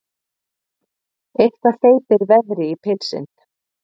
Eitthvað hleypir veðri í pilsin